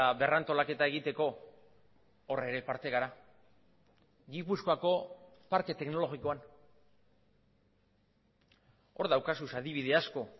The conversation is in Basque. berrantolaketa egiteko hor ere parte gara gipuzkoako parke teknologikoan hor daukazu adibide asko